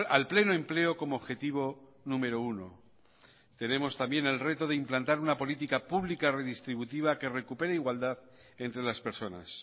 al pleno empleo como objetivo número uno tenemos también el reto de implantar una política pública redistributiva que recupere igualdad entre las personas